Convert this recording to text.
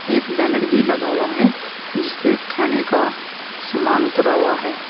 एक बैनर भी लगा हुआ है जिसपे खाने का समान उतरा हुआ है।